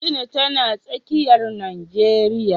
Katsina tana tsakiyar Najeriya.